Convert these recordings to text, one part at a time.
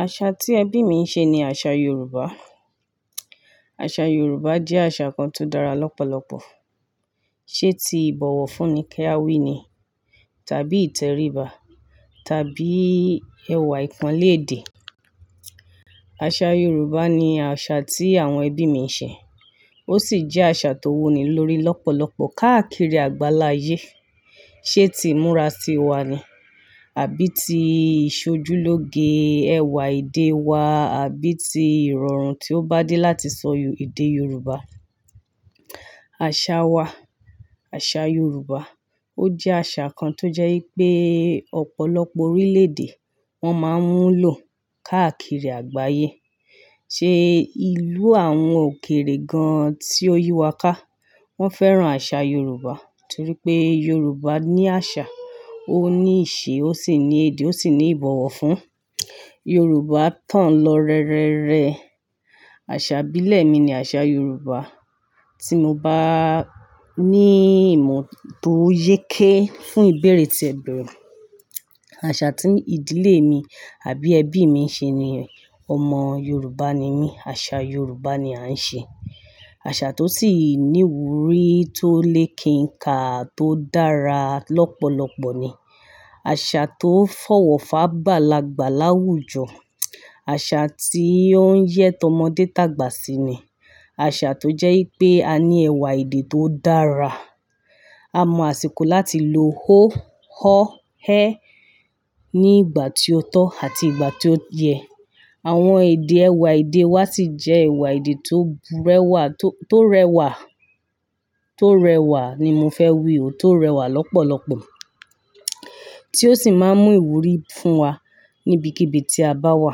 Àṣà tí ẹbí mi ń ṣe ni àṣà Yorùbá. Àṣà Yorùbá jẹ́ àṣà kan tó dára lọ́pọ̀lọpọ̀. Ṣé ti ìbọ̀wọ̀ fúnni kẹ́ awí ni? Tàbí ìtẹríba? Tàbí ẹwà ìpánleédè? Àṣà Yorùbá ni àṣà tí àwọn ẹbí mi ń ṣe. Ó sì jẹ́ àṣà tó wuni lórí lọ́pọ̀lọpọ̀ káàkiri àgbáláyé. Ṣé ti ìmúra tiwa ni? Àbí ti ìṣojúlóge ẹwà èdè wa àbí ti ìrọ̀rùn tí ó bá dé láti sọ èdè Yorùbá? Àṣà wa, àṣà Yorùbá, ó jẹ́ àṣà kan tó jẹ́ pé ọ̀pọ̀lọpọ̀ orílẹ̀-èdè wọ́n máa ń mú lò káàkiri àgbáyé. Ṣé ìlú àwọn òkèrè gan-an tí ó yíwa ká, wọ́n fẹ́ràn àṣà Yorùbá torí pé Yorùbá ní àṣà, ó ní ìṣe, ó sì ní èdè, ó sì ní ìbọ̀wọ̀ fún. Yorùbá tán lọ rẹrẹrẹ. Àṣà ìbílẹ̀ mi ni àṣà Yorùbá. Tí mo bá ní ìmọ̀ tó yéké fún ìbéèrè tí ẹ béèrè, àṣà tí ìdílé mi àbí ẹbí mi ń ṣe ni ọmọ Yorùbá ni mí, àṣà Yorùbá ni a ń ṣe. Àṣà tó sì ní wúrí tó lè kí ń kà tó dára lọ́pọ̀lọpọ̀ ni. Àṣà tó fọwọ́ fá bá lagba láwùjọ, àṣà tí ó ń yẹ́ tọmọdé tàgbà sí ni, àṣà tó jẹ́ pé a ní ẹwà èdè tó dára. A mọ àsìkò láti lo ó, ọ́, ẹ́ ní ìgbà tí ó tọ́ àti ìgbà tí ó yẹ. Àwọn èdè ẹwà èdè wa sì jẹ́ ẹwà èdè tó burẹwà, tó rẹwà, tó rẹwà ni mo fẹ́ wí o, tó rẹwà lọ́pọ̀lọpọ̀ tí ó sì máa ń mú ìwúrí fún wa níbikíbi tí a bá wà.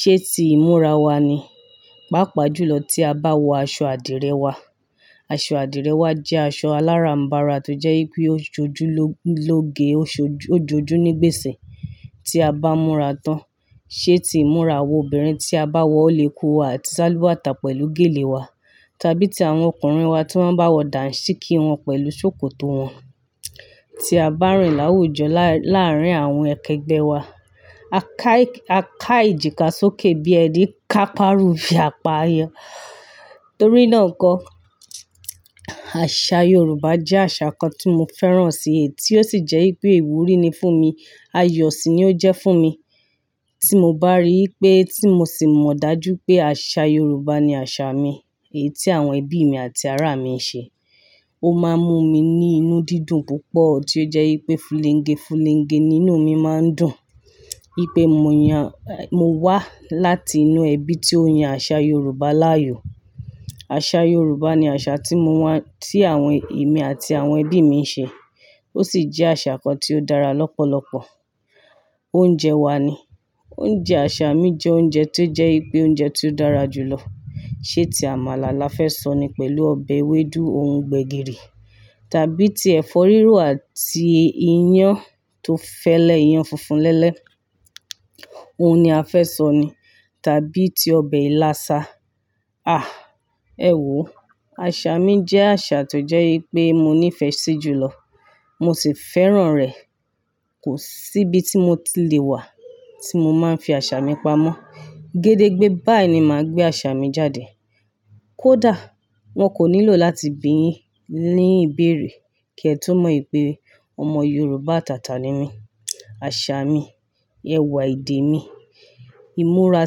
Ṣé ti ìmúra wa ni? Pápa jùlọ tí a bá wọ aṣọ àdìrẹ wa. Aṣọ àdìrẹ wa jẹ́ aṣọ aláràm̀barà tó jẹ́ pé ó jójú lóge, ó jójú nígbèsè tí a bá múra tán. Ṣé ti ìmúra àwọn obìnrin tí a bá wọ òlekú wa àti sálúbàtà pẹ̀lú gèlè wa? Tàbí ti àwọn ọkùnrin wa tí wọ́n bá wọ dàǹsíkí wọn pẹ̀lú ṣòkòtò wọn tí a bá rìn láwùjọ láàárín àwọn akẹgbẹ́ wa. A ká ìjìká sókè bí ẹní ká párù fí àpá ayọ̀. Torí náà kọ, àṣà Yorùbá jẹ́ àṣà kan tí mo fẹ́ràn si èyí tí ó sì jẹ́ pé ìwúrí ni fún mi. Ayọ̀ sì ni ó jẹ́ fún mi. Tí mo bá rí i pé tí mo sì mọ̀ dájú pé àṣà Yorùbá ni àṣà mi, èyí tí àwọn ẹbí mi àti ará mi ń ṣe, ó máa ń mú mi ní inú dídùn púpọ̀ tí ó jẹ́ pé fuléńgẹ fuléńgẹ nínú mi máa ń dùn. Í pé mo yàn, mo wá láti inú ẹbí tí ó yan àṣà Yorùbá láàyò. Àṣà Yorùbá ni àṣà tí mo wà tí àwọn ẹ̀mí àti àwọn ẹbí mi ń ṣe. Ó sì jẹ́ àṣà kan tí ó dára lọ́pọ̀lọpọ̀. Oúnjẹ wa ni. Oúnjẹ àṣà mi jẹ́ oúnjẹ tí ó jẹ́ pé oúnjẹ tí ó dára jù lọ. Ṣé ti àmàlà la fẹ́ sọ ni pẹ̀lú ọbẹ̀ ewédú, òun gbẹ̀gìrì tàbí ti ẹ̀fọ́ rírò àti iyán tó fẹ́lẹ́, iyán funfun lẹ́lẹ́, òun ni a fẹ́ sọ ni tàbí ti ọbẹ̀ ilasa. Ah! Ẹ̀wọ̀, àṣà mi jẹ́ àṣà tó jẹ́ pé mo ní ìfẹ́ sí jùlọ. Mo sì fẹ́ràn rẹ̀. Kò sí ibi tí mo ti le wà tí mo máa ń fi àṣà mi pamọ́. Gédégbé báì ni màá gbé àṣà mi jáde. Kódà wọ́n kò nílò láti bíni ní ìbéèrè kí ẹ tó mọ̀ pé ọmọ Yorùbá atàtà ni mí. Àṣà mi, ẹwà èdè mi, ìmúra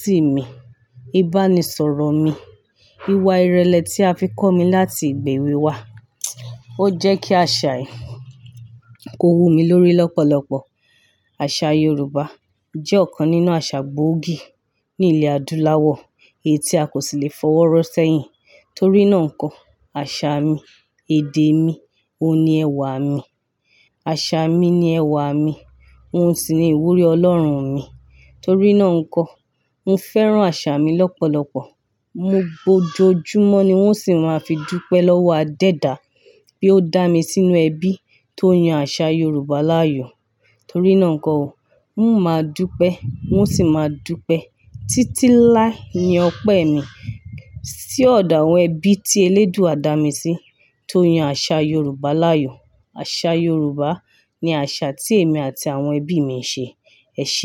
sí mi, ìbánisọ̀rọ̀ mi, ìwà ìrẹ̀lẹ̀ tí a fi kọ́ mi láti ìgbà èwe wa. Ó jẹ́ kí àṣà yìí kó wu mi lórí lọ́pọ̀lọpọ̀. Àṣà Yorùbá jẹ́ ọ̀kan nínú àṣà gbóògì ní ilẹ̀ adúláwọ̀ èyí tí a kò sì lè fọwọ́ rọ́ sẹ́yìn. Torí náà kọ, àṣà mi, èdè mi, òun ni ẹwà mi. Àṣà mi ni ẹwà mi. Òun sì ni ìwúrí Ọlọ́run mi. Torí náà n kọ, mo fẹ́ràn àṣà mi lọ́pọ̀lọpọ̀. Mo gbojú jù mọ́ ni wón sì máa fi dugbẹ́ lọ́wọ́ adẹ́ẹ̀ dá bí ó dá mi sínú ẹbí tó yan àṣà Yorùbá láàyò. Torí náà kọ ò, n ó máa dugbẹ́, wọ́n sì máa dugbẹ́. Títí láé ni ọpẹ́ mi sí ọ̀dà àwọn ẹbí tí eléèdúa dá mi sí tó yan àṣà Yorùbá láàyò. Àṣà Yorùbá ni àṣà tí èmi àti àwọn ẹbí mi ń ṣe. Ẹ ṣe é.